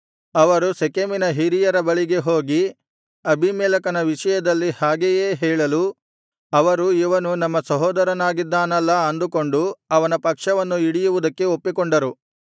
ಅವರು ಶೆಕೆಮಿನ ಹಿರಿಯರ ಬಳಿಗೆ ಹೋಗಿ ಅಬೀಮೆಲೆಕನ ವಿಷಯದಲ್ಲಿ ಹಾಗೆಯೇ ಹೇಳಲು ಅವರು ಇವನು ನಮ್ಮ ಸಹೋದರನಾಗಿದ್ದಾನಲ್ಲಾ ಅಂದುಕೊಂಡು ಅವನ ಪಕ್ಷವನ್ನು ಹಿಡಿಯುವುದಕ್ಕೆ ಒಪ್ಪಿಕೊಂಡರು